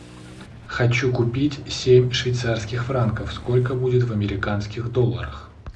хочу купить семь швейцарских франков сколько будет в американских долларах